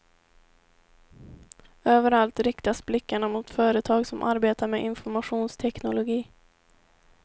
Överallt riktas blickarna mot företag som arbetar med informationsteknologi.